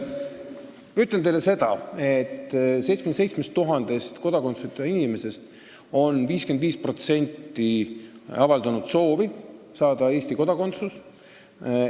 Ütlen teile seda, et 77 000-st kodakondsuseta inimesest 55% on avaldanud soovi saada Eesti kodakondsus.